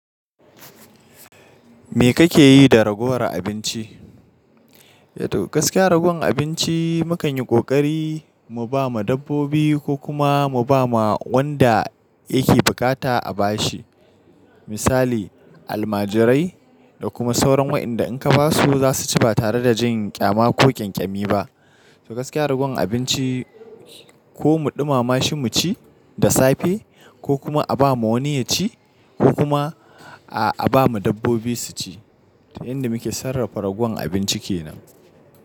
Me kake yi da ragowar abinci? To gaskiya ragowar abinci mu kan yi ƙoƙari mu ba ma dabbobi ko kuma mu ba ma wanda yake bukata a bashi. Misali almajirai da kuma sauran waɗanda in ka ba su za su ci ba tare da jin ƙyama ko ƙyanƙyami ba. To gaskiya ragon abinci ko mu ɗumama shi mu ci da safe ko kuma a ba ma wani ya ci ko kuma a ba ma dabbobi su ci. To yanda muke sarrafa ragowar abinci kenan.